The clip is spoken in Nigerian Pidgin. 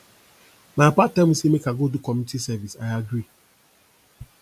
my papa tell me say make i go do community service i agree